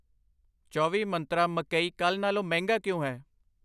ਚੌਵੀ ਮੰਤਰਾਂ ਮਕਈ ਕੱਲ੍ਹ ਨਾਲੋਂ ਮਹਿੰਗਾ ਕਿਉਂ ਹੈ